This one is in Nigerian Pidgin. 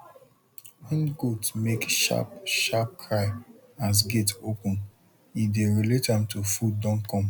wen goat make sharp sharp cry as gate open e dey relate am to food don come